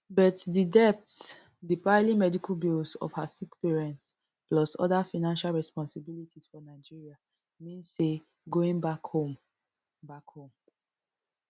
but di debts di piling medical bills of her sick parents plus oda financial responsibilities for nigeria mean say going back home back home